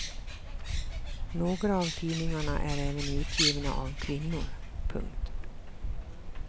Några av tidningarna är även utgivna av kvinnor. punkt